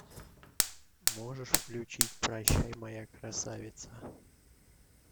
можешь включить прощай моя красавица